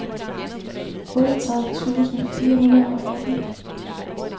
otteogtredive tusind fire hundrede og atten